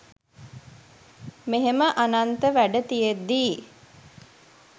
මෙහෙම අනන්ත වැඩ තියෙද්දී